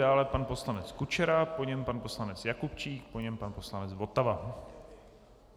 Dále pan poslanec Kučera, po něm pan poslanec Jakubčík, po něm pan poslanec Votava.